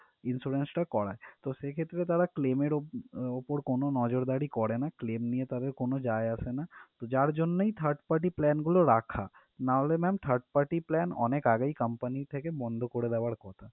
Insurance টা করায় তো সেক্ষেত্রে তারা claim এর ওপ আহ ওপর কোনো নজরদারি করে না claim নিয়ে তাদের কোনো যায় আসেনা তো যার জন্যই third party plan গুলো রাখা নাহলে ma'am third party plan অনেক আগেই company থেকে বন্ধ করে দেওয়ার কথা।